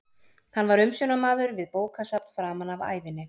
Hann var umsjónarmaður við bókasafn framan af ævinni.